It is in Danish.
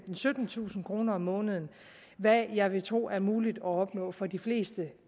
syttentusind kroner om måneden hvad jeg vil tro er muligt at opnå for de fleste